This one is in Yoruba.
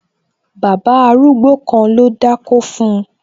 Bàbá arúgbó kan ló dákó fun